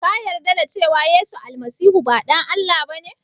Ka yarda da cewa yesu almasihu ba ɗan Allah ba ne?